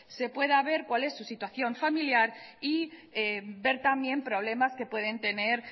se pueda ver cuál es su situación familiar y ver también problemas que pueden tener